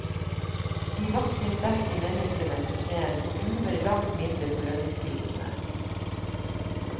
De vakre, sterke menneskene på scenen ruver langt mindre på lønningslistene.